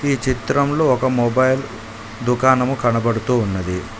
ఈ చిత్రంలో ఒక మొబైల్ ధుకాణము కనబడుతూ ఉన్నది.